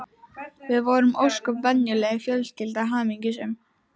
Við vorum ósköp venjuleg fjölskylda, hamingjusöm.